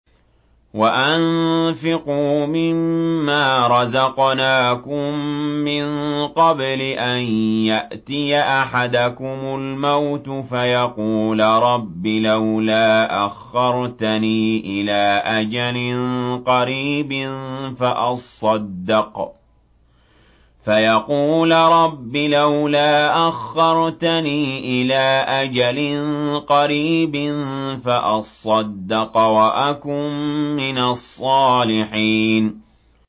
وَأَنفِقُوا مِن مَّا رَزَقْنَاكُم مِّن قَبْلِ أَن يَأْتِيَ أَحَدَكُمُ الْمَوْتُ فَيَقُولَ رَبِّ لَوْلَا أَخَّرْتَنِي إِلَىٰ أَجَلٍ قَرِيبٍ فَأَصَّدَّقَ وَأَكُن مِّنَ الصَّالِحِينَ